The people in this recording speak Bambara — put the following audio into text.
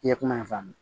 I ye kuma in faamu